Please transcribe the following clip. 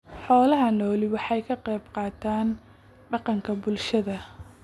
Xoolaha nooli waxa ay ka qayb qaataan dhaqanka bulshada.